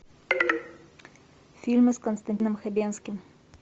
фильмы с константином хабенским